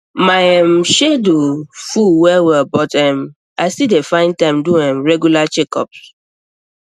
my um schedule full wellwell but um i still dey find time do um regular checkup